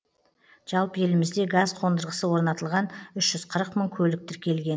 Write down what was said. жалпы елімізде газ қондырғысы орнатылған үш жүз қырық мың көлік тіркелген